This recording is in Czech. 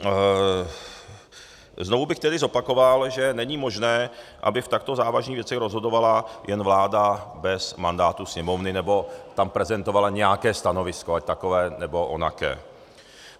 Znovu bych tedy zopakoval, že není možné, aby v takto závažných věcech rozhodovala jen vláda bez mandátu Sněmovny nebo tam prezentovala nějaké stanovisko, ať takové, nebo onaké.